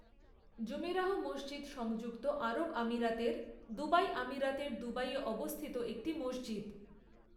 Jumeirah মসজিদ সংযুক্ত আরব আমিরাতের, দুবাই আমিরাতের দুবাইয়ে অবস্থিত একটি মসজিদ।